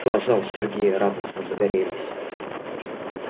глаза у сергея радостно загорелись